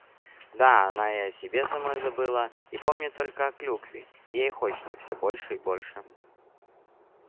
да она и о себе самой забыла и помнит только о клюкве и ей хочется всё больше и больше